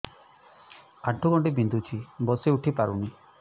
ଆଣ୍ଠୁ ଗଣ୍ଠି ବିନ୍ଧୁଛି ବସିଉଠି ପାରୁନି